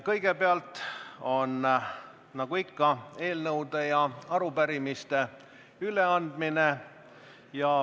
Kõigepealt on nagu ikka võimalik üle anda eelnõusid ja arupärimisi.